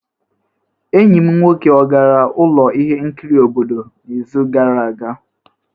Enyi m nwoke ọ gara ụlọ ihe nkiri obodo n'izu gara aga?